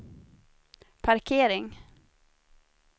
parkering